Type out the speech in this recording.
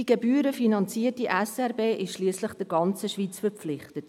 Die gebührenfinanzierte SRG ist der ganzen Schweiz verpflichtet.